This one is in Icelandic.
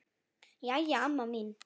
Jæja, amma mín.